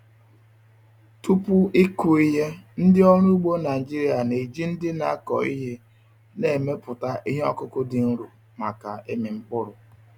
Tupu ịkụ ihe, ndị ọrụ ugbo Naijiria na-eji ndị na-akọ ihe na-emepụta ihe ọkụkụ dị nro maka ịmị mkpụrụ.